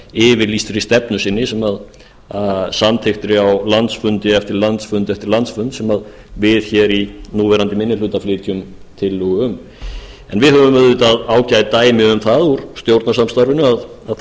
yfirlýstri stefnu sinni samþykkti á landsfundi eftir landsfund eftir landsfund sem við í núverandi minni hluta flytjum tillögu um en við höfum auðvitað ágætt dæmi um það úr stjórnarsamstarfinu að þó að